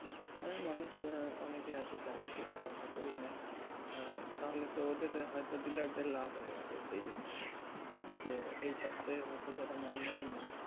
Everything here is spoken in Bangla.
ওই মানুষ অনেকেই আছে চালাকি ব্যাপার তা করিয়ে নেই আঃ তাহলে তো ওদের হয় তো দিলে এক বাড়ে লাভ হয়েগেলো সেই জিনিস তা যে এই সপ্তাহে হয় তো যারা মাল নেয়নি